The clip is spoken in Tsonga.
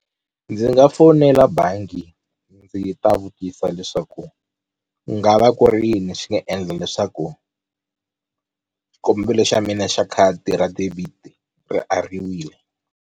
Ndzi nga fonela bangi ndzi ta vutisa leswaku ku nga va ku ri yini xi nga endla leswaku xikombelo xa mina xa khadi ra debit ri ariwile.